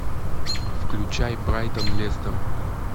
включай брайтон лестер